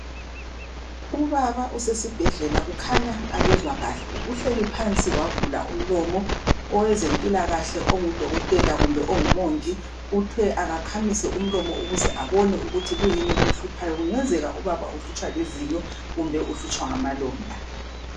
Ubaba usesibhedlela ukhanya akezwakahle uhleli phansi wavula umlomo owezempilakahle ongudokotela kumbe ongumongi uthe akakhamise umlomo ukuze abone ukuthi kuyini okumhluphayo kungenzeka ubaba uhlutshwa lizinyo kumbe uhlutshwa ngamalonda